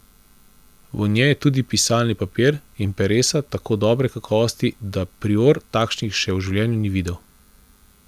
V njej je tudi pisalni papir in peresa tako dobre kakovosti, da prior takšnih še v življenju ni videl.